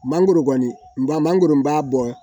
Mangoro kɔni mangoro b'a bɔ